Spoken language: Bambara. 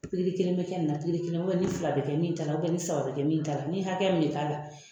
Pikiri kelen bɛ kɛ nin na pikiri kelen wali fila bɛ kɛ min ta la wali saba bɛ kɛ min ta la ni hakɛya min bɛ k'a la